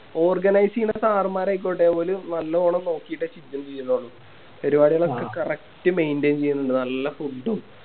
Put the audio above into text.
Organize ചെയ്യുന്ന Sir മ്മാരായിക്കോട്ടെ ഓല് നല്ലോണം നോക്കിട്ടൊക്കെയാ ചെയ്യുന്നുള്ളു ഒരുപാട് പേർക്ക് Correct maintain ചെയ്യുന്നുണ്ട് നല്ല Food ഉം